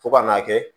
Fo ka n'a kɛ